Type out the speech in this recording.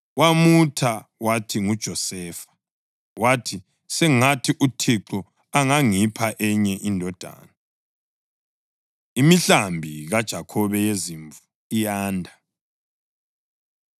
Wamutha wathi nguJosefa, wathi, “Sengathi uThixo angangipha enye indodana.” Imihlambi KaJakhobe Yezimvu Iyanda